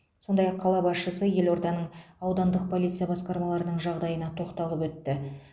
сондай ақ қала басшысы елорданың аудандық полиция басқармаларының жағдайына тоқталып өтті